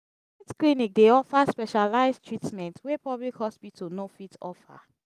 private clinic dey offer specialize treatment wey public hospital no fit offer.